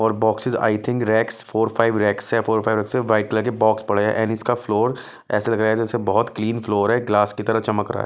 और boxes I think racks four five racks है four five racks है white colour के बॉक्स पड़े हैं एंड इसका फ्लोर ऐसे लग रहा है जैसे बहुत क्लीन फ्लोर है ग्लास की तरह चमक रहा है।